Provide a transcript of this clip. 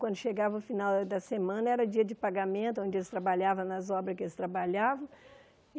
Quando chegava o final da semana, era dia de pagamento, onde eles trabalhavam nas obras que eles trabalhavam.